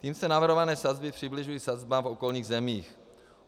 Tím se navrhované sazby přibližují sazbám v okolních zemích.